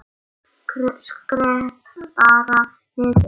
Skrepp bara niður.